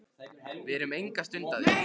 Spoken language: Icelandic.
Við erum enga stund að því.